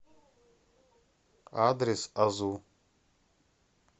адрес азу